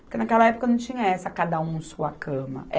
Porque naquela época não tinha essa cada um sua cama.